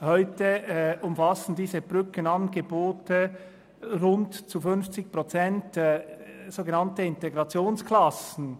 Heute umfassen diese Brückenangebote zu rund 50 Prozent sogenannte Integrationsklassen.